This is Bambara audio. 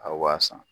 A b'a san